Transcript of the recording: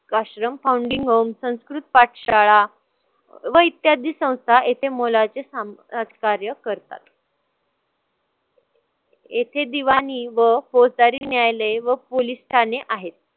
आश्रम founding home संस्कृत पाठशाळा व इत्यादी संस्था येथे मोलाचे कार्य करतात. येथे दिवाणी व फौजदारी न्यायालय व police ठाणे आहेत.